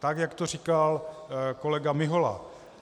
Tak jak to říkal kolega Mihola.